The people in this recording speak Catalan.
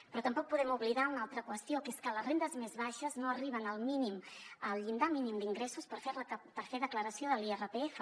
però tampoc podem oblidar una altra qüestió que és que les rendes més baixes no arriben al mínim al llindar mínim d’ingressos per fer declaració de l’irpf